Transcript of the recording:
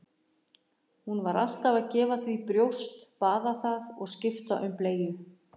Hún var alltaf að gefa því brjóst, baða það og skipta um bleyju.